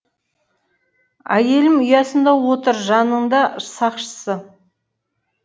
әйелім ұясында отыр жанында сақшысы